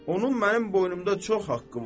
Onun mənim boynumda çox haqqı var.